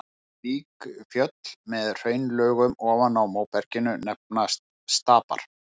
Slík fjöll, með hraunlögum ofan á móberginu, nefnast stapar.